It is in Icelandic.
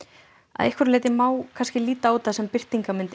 að einhverju leyti má líta á þetta sem birtingarmynd